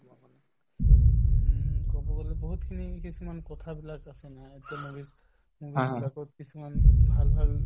হুম, কব গলে বহুতখিনি কিছুমান কথাবিলাক আছে না এতিয়া movies movies বিলাকত কিছুমান ভাল ভাল